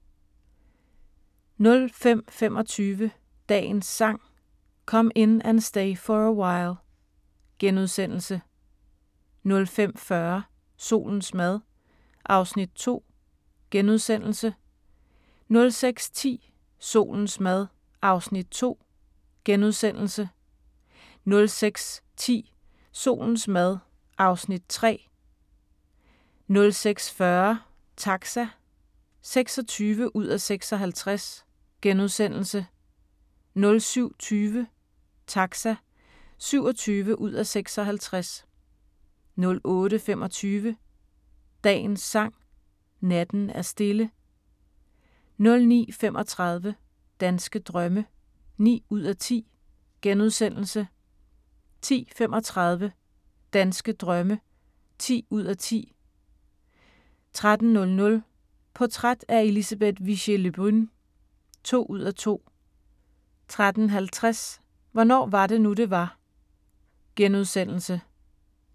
05:25: Dagens Sang: Come In And Stay For A While * 05:40: Solens mad (Afs. 2)* 06:10: Solens mad (Afs. 3) 06:40: Taxa (26:56)* 07:20: Taxa (27:56) 08:25: Dagens Sang: Natten er stille 09:35: Danske drømme (9:10)* 10:35: Danske drømme (10:10) 13:00: Portræt af Elisabeth Vigée Le Brun (2:2) 13:50: Hvornår var det nu, det var? *